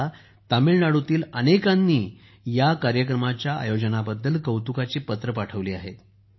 मला तामिळनाडूतील अनेकांनी या कार्यक्रमाच्या आयोजनाबद्दल कौतुकाची पत्रे पाठवली आहेत